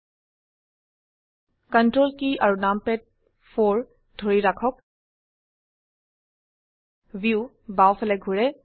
ctrl কী আৰু numpad 4 ধৰি ৰাখক ভিউ বাও ফালে ঘোৰে